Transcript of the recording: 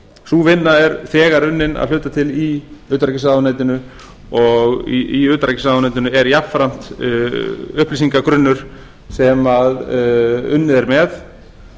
sú vinna er þegar unnin að hluta til í utanríkisráðuneytinu og í utanríkisráðuneytinu er jafnframt upplýsingagrunnur sem unnið er með